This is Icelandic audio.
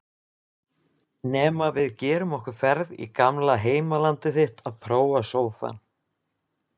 Nema við gerum okkur ferð í gamla heimalandið þitt að prófa sófann.